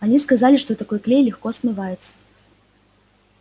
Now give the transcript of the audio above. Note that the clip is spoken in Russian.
они сказали что такой клей легко смывается